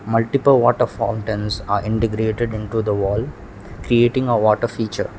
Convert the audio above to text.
multiple water fall are integrated into the wall creating a water feature.